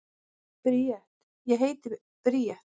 Bríet: Ég heiti Bríet.